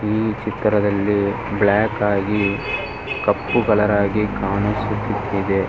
ಈ ಚಿತ್ರದಲ್ಲಿ ಬ್ಲಾಕ್ ಆಗಿ ಕಪ್ಪು ಕಲರ್ ಆಗಿ ಕಾಣಿಸುತ್ತಿದೆ.